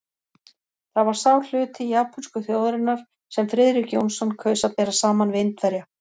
Það var sá hluti japönsku þjóðarinnar, sem Friðrik Jónsson kaus að bera saman við Indverja.